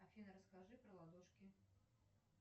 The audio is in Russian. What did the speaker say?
афина расскажи про ладошки